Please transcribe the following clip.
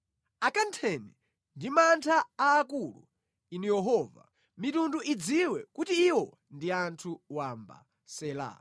Akantheni ndi mantha aakulu, Inu Yehova; mitundu idziwe kuti iwo ndi anthu wamba. Sela